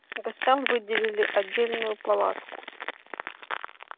гостям выделили отдельную палатку